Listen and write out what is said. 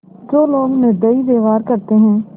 जो लोग निर्दयी व्यवहार करते हैं